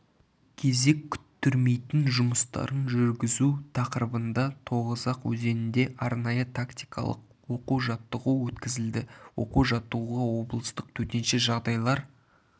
кезек күттірмейтін жұмыстарын жүргізу тақырыбында тоғызақ өзенінде арнайы-тактикалық оқу-жаттығу өткізілді оқу-жаттығуға облыстық төтенше жағдайлар